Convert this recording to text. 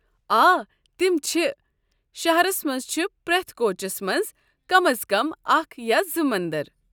آ، تِم چھ ۔ شہرس منٛز چھ پرٛٮ۪تھ كوچس منٛز کم از کم اکھ یا زٕ مندر۔